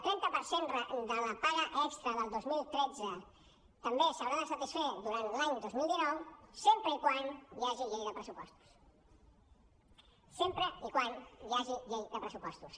extra del dos mil tretze també s’haurà de satisfer durant l’any dos mil dinou sempre que hi hagi llei de pressupostos sempre que hi hagi llei de pressupostos